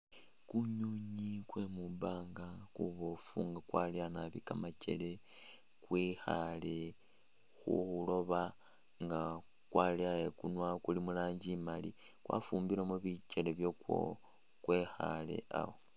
Kunywinywi kwe mwibaanga kuboofu nga kwaleya nabi kamakele kwekhaale khwiloba nga kwaleya ikunwa kuli mu rangi imali kwafumbilemo bikele byakwo kwekhaale awo.